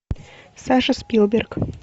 саша спилберг